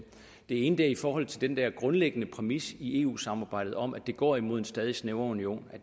det ene er i forhold til den der grundlæggende præmis i eu samarbejdet om at det går imod en stadig snævrere union